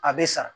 A bɛ sa